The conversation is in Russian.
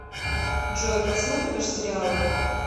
джой посматриваешь сериалы